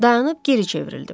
Dayanıb geri çevrildim.